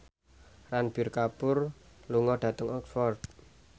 Ranbir Kapoor lunga dhateng Oxford